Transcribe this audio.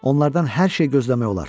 Onlardan hər şey gözləmək olar.